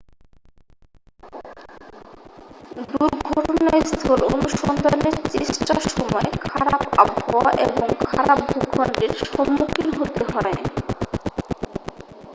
দুর্ঘটনাস্থল অনুসন্ধানের চেষ্টার সময় খারাপ আবহাওয়া এবং খারাপ ভূখণ্ডের সম্মুখীন হতে হয়